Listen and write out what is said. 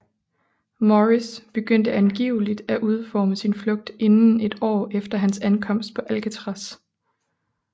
Morris begyndte angiveligt at udforme sin flugt inden et år efter hans ankomst på Alcatraz